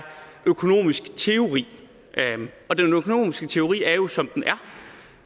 økonomisk teori og den økonomiske teori er jo som den er